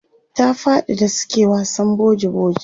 ta faɗi da suke wasan boji boji